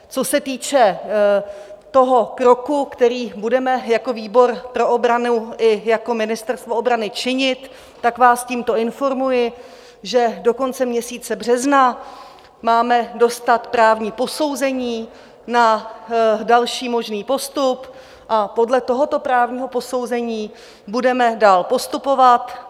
Co se týče toho kroku, který budeme jako výbor pro obranu i jako Ministerstvo obrany činit, tak vás tímto informuji, že do konce měsíce března máme dostat právní posouzení na další možný postup a podle tohoto právního posouzení budeme dál postupovat.